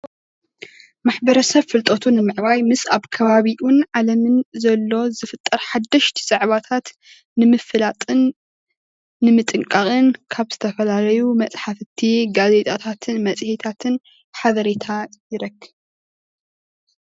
ማሕብረሰብ ፍልጠቱ ንምዕባይ ምስ ኣብ ከባቢኡን ዓለምን ዘሎ ዝፍጠር ሓደሽቲ ዛዕባታት ንምፍላጥን ንምጥንቃቕን ካብ ዝተፈላለዩ መፅሓፍትን ጋዜጣታትን መፅሄታትን ሓበሬታ ይረክብ።